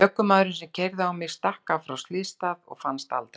Ökumaðurinn sem keyrði á mig stakk af frá slysstað og fannst aldrei.